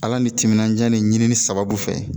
Ala ni timinandiya ni ɲinini sababu fɛ